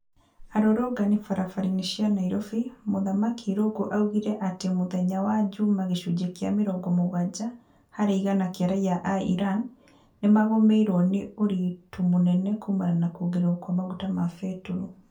Arũrũngani barabara-inĩ cia Nairobi Mũthamaki Irungu augire atĩ mũthenya wa juma gĩcunjĩ kĩa mĩrongo mũgwanja harĩ igana kia raia a Iran, nĩmagũmĩirwo nĩ ũritu mũnene kumana na kuongrerwo kwa maguta ma betũrũ